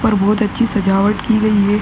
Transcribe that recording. और बोहोत अच्छी सजावट की गयी है।